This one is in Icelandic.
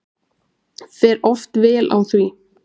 Fer oft vel á því.